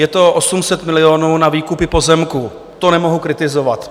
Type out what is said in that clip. Je to 800 milionů na výkupy pozemků, to nemohu kritizovat.